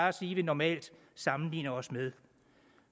at sige vi normalt sammenligner os med